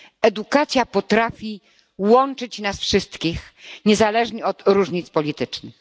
Edukacja potrafi łączyć nas wszystkich niezależnie od różnic politycznych.